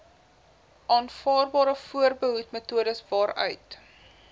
aanvaarbare voorbehoedmetodes waaruit